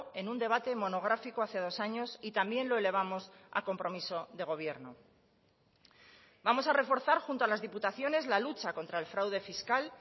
en un debate monográfico hace dos años y también lo elevamos a compromiso de gobierno vamos a reforzar junto a las diputaciones la lucha contra el fraude fiscal